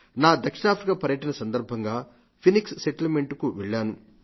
నా దక్షిణాఫ్రికా పర్యటన సందర్భంగా ఫీనిక్స్ సెటిల్మెంట్ కు వెళ్లాను